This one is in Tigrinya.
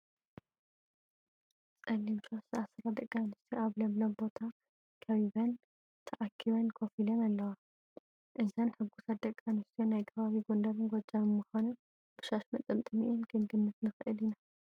ፀሊም ሻሽ ዝኣሰራ ደቂ ኣንስትዮ ኣብ ለምለም ቦታ ከቢበን ተኣኪበን ኮፍ ኢለን ኣለዋ፡፡ እዘን ሕጉሳት ደቂ ኣንስትዮ ናይ ከባቢ ጐንደርን ጐጃምን ምዃነን ብሻሽ መጠምጠሚአን ክንግምት ንኽእል ኢና፡፡